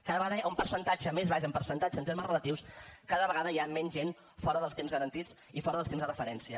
cada vegada hi ha un percentatge més baix en percentatge en termes relatius cada vegada hi ha menys gent fora dels temps garantits i fora dels temps de referència